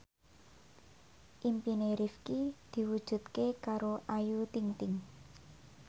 impine Rifqi diwujudke karo Ayu Ting ting